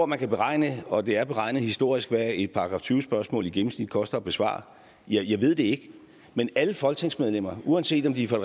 man kan beregne og det er beregnet historisk hvad et § tyve spørgsmål i gennemsnit koster at besvare jeg ved det ikke men alle folketingsmedlemmer uanset om de er fra